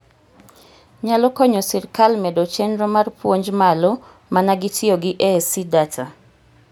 Nyalo konyo sirkal medo chenro mar puonj malo mana gi tiyo gi ASC data?